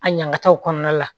A ɲaŋamtaaw kɔnɔna la